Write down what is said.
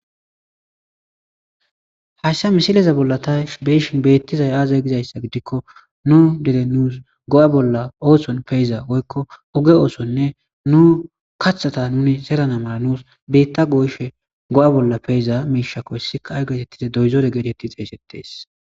Hayshsa misileza bolla ta beyshin beettizay aazay gizayssa gidikko nu dere nuus go7a bolla ooson peeza goykko oge oosonne nu kathata nuni sera namala nuus biitta goyshe go7a bolla peyiza miishakkoy sikaay geetettize doyzore gedetti xeysettees.